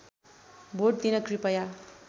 vote दिन कृपया